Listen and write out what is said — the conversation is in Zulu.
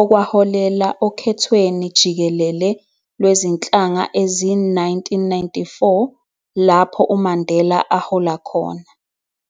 okwaholela okhethweni jikelele lwezinhlanga ezi-1994 lapho uMandela ahola khona